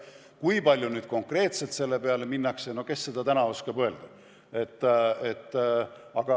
Kui palju konkreetselt selle peale minnakse, no kes seda täna oskab öelda.